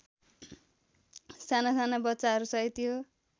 सानासाना बच्चाहरूसहित यो